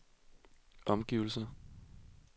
omgivelser